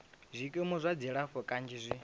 zwikimu zwa dzilafho kanzhi zwi